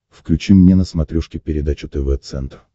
включи мне на смотрешке передачу тв центр